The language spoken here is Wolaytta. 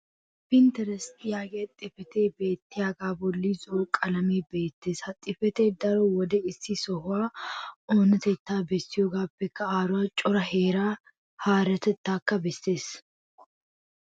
pinterest yaagiya xifatee beettiyaaga boli zo'o qalamee beettees. ha xifatee daro wode issi sohuwaa oonatettaa bessiyoogaappe aaruwa cora hara heeratakka bessees.